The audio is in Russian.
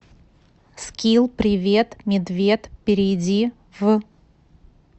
скилл привет медвед перейди в